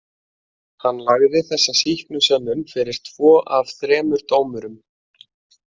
Hann lagði þessa sýknusönnun fyrir tvo af þremur dómurum.